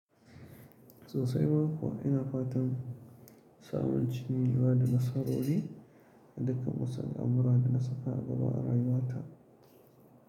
So sai ma kuwa ina fatan samun cin gaba da nasara wuri, dukkan musayar amura da na saba ba raima ta.